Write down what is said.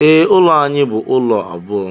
Ee, ụlọ anyị bụ ụlọ abụọ.